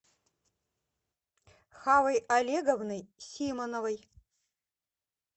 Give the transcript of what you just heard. хавой олеговной симоновой